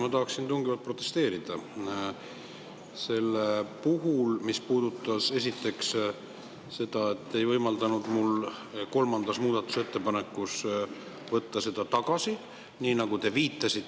Ma tahan tungivalt protesteerida selle vastu, mis puudutab seda, et te ei võimaldanud mul kolmandat muudatusettepanekut tagasi võtta.